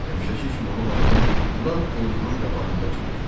Həmişəki kimi onu balığın lap burnunun qabağında tutdu.